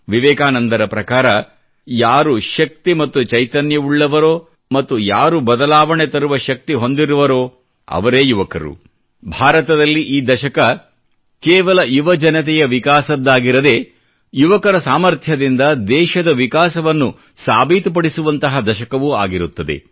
ವಿವೇಕಾನಂದರ ಪ್ರಕಾರ ಯಾರು ಶಕ್ತಿ ಮತ್ತು ಚೈತನ್ಯವುಳ್ಳವನೋ ಮತ್ತು ಯಾರು ಬದಲಾವಣೆ ತರುವ ಶಕ್ತಿ ಹೊಂದಿರುತ್ತಾನೋ ಅವನೇ ಯುವಕ ಭಾರತದಲ್ಲಿ ಈ ದಶಕ ಕೇವಲ ಯುವಜನತೆಯ ವಿಕಾಸದ್ದಾಗಿರದೇ ಯುವಕರ ಸಾಮಥ್ರ್ಯದಿಂದ ದೇಶದ ವಿಕಾಸವನ್ನು ಸಾಬೀತುಪಡಿಸುವಂತಹ ದಶಕವೂ ಆಗಿರುತ್ತದೆ